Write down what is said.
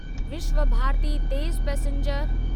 विश्वभारती तेज़ पैसेंजर